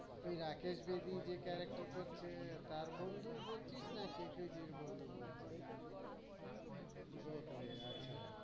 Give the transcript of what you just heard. ওই রাকেশ বেদি যে character করছে তার বন্ধু বলছিস নাকি তুই গোখলে আচ্ছা